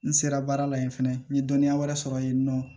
N sera baara la yen fɛnɛ n ye dɔnniya wɛrɛ sɔrɔ yen nɔ